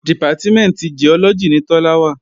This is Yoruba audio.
Dìpátímẹ̀ntì Giọ́lọ́gì ni Tọ́lá wà